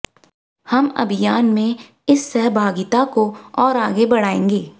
हम अभियान में इस सहभागिता को और आगे बढ़ाएंगे